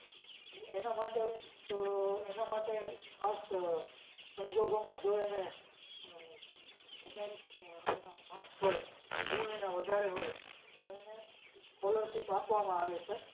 એના માટે એના માટે ખાસ આહ સંજોગોમાં જો એને આહ વધારે આહ એના marks હોય, ગુણ એના વધારે હોય તો એને scholarship આપવામાં આવે છે.